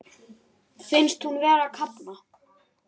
Finnst hún vera að kafna.